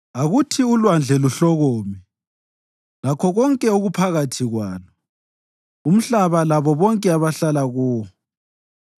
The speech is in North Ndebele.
Akuthi ulwandle luhlokome, lakho konke okuphakathi kwalo, umhlaba labo bonke abahlala kuwo.